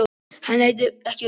Hann leit ekki upp.